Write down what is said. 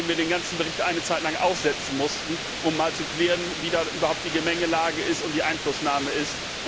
Indem wir den ganzen Bericht eine Zeitlang aussetzen mussten, um mal zu klären, wie überhaupt die Mängellage und die Einflussnahme ist.